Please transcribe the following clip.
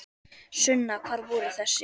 Sunna: Hvar voru þessir?